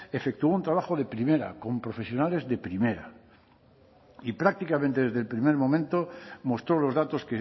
efectuó un trabajo de primera con profesionales de primera y prácticamente desde el primer momento mostró los datos